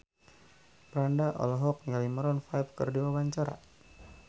Franda olohok ningali Maroon 5 keur diwawancara